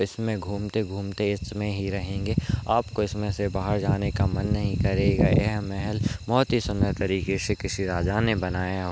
आप इसमें घूमते घूमते इसमें ही रहेंगे आप को इसमें से बाहर जाने का मन नहीं करेगा ये महल बहुत ही सुन्दर तरीके से किसी राजा ने बनाया हो।